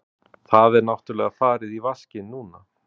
Það er náttúrlega farið í vaskinn núna.